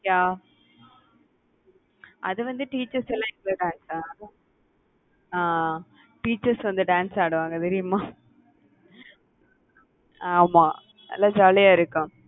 yeah அது வந்து teachers லாம் அஹ் teachers வந்து dance ஆடுவாங்க தெரியுமா? ஆமா நல்லா jolly அ இருக்கும்.